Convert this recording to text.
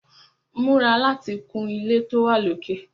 Múra láti kun ilé tó wà lókè!